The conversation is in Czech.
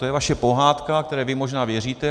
To je vaše pohádka, které vy možná věříte.